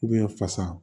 fasa